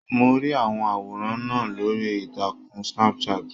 Mo rí i àwọn àwòrán náà lórí ìtàkùn Snapchat.